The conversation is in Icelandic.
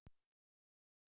Ég sé enn eftir því síðar